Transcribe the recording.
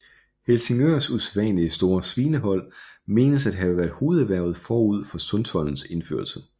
Helsingørs usædvanlig store svinehold menes at have været hovederhvervet forud for sundtoldens indførelse